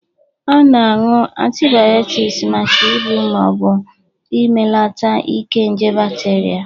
A na-aṅụ antịbịotiks maka igbụ ma ọ bụ imelata ike nje bakterịa